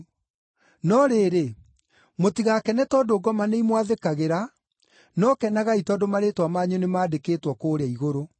No rĩrĩ, mũtigakene tondũ ngoma nĩimwathĩkagĩra, no kenagai tondũ marĩĩtwa manyu nĩmandĩkĩtwo kũũrĩa Igũrũ.”